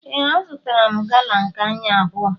Ee, azụtara m gala nke anyị abụọ